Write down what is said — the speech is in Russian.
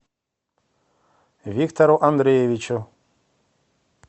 виктору андреевичу